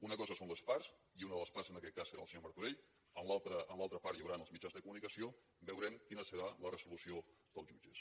una cosa són les parts i una de les parts en aquest cas serà el senyor martorell en l’altra part hi haurà els mitjans de comunicació veurem quina serà la resolució dels jutges